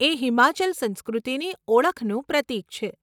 એ હિમાચલ સંસ્કૃતિની ઓળખનું પ્રતીક છે.